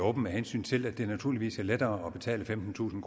åben med hensyn til at det naturligvis er lettere at betale femtentusind